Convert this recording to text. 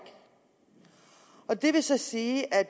og det vil så sige at